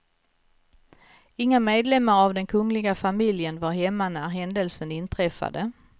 Inga medlemmar av den kungliga familjen var hemma när händelsen inträffade.